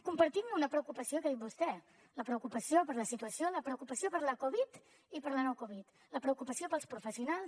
compartim una preocupació que ha dit vostè la preocupació per la situació la preocupació per la covid i per la no covid la preocupació pels professionals